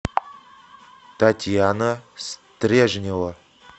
татьяна стрежнева